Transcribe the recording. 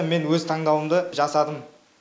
мен өз таңдауымды жасадым